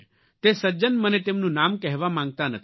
તે સજ્જન મને તેમનું નામ કહેવા માગતા નથી